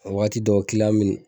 Waati dɔ mɛ